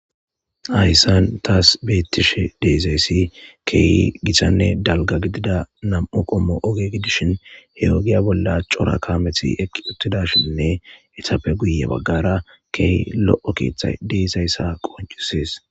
Hayssan taas beettishe deezayssi keeyi githanne dalga gidida nam7u qommo oge gidishin he ogiya bolla cora kameti eqi uttida shinne etappe guye baggara key lo7o keeththa deezayssa qoncusees.